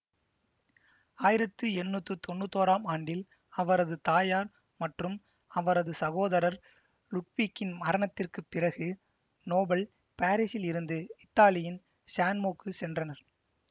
ஆயிரத்தி எண்ணூத்தி தொன்னூத்தி ஓறாம் ஆண்டில் அவரது தாயார் மற்றும் அவரது சகோதரர் லுட்விக்கின் மரணத்திற்கு பிறகு நோபல் பாரிஸில் இருந்து இத்தாலியின் சான்மோக்கு சென்றனர்